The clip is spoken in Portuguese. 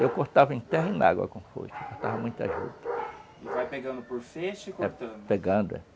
É, eu cortava em terra e na água com foice, cortava muito a juta. E vai pegando por feixe e cortando?